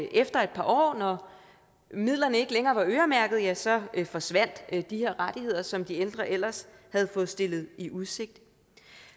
efter et par år når midlerne ikke længere var øremærkede ja så forsvandt de her rettigheder som de ældre ellers havde fået stillet i udsigt